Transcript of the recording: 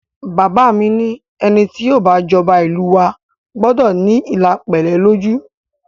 Bàbá mi ni ẹni ti yóò bá jọba ìlú wa gbọ́dọ̀ ní ilà pélé lójú